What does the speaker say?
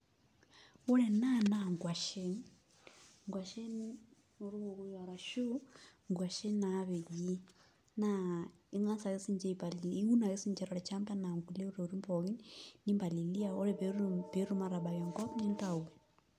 Ore ena naa nkuashen, nkuashen orkokoyo arashu nkuashen naapeji naa ing'as ake sininche aipalilia iun ake siinche tolchamba enaa kulie tokitin pookin nimpalilia ore pee etum aatabak enkop nintayu.